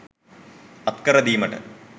අත්කර දීමට